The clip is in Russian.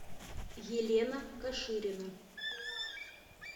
елена каширина